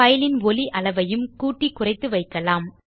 file ன் ஒலி அளவையும் கூட்டிக் குறைத்து வைக்கலாம்